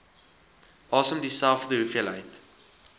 asem dieselfde hoeveelheid